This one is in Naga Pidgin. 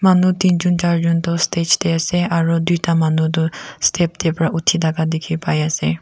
manu tinjon charjon tu stage teh ase aru duita manu tu step teh pra uthi thaka dikhi pai ase.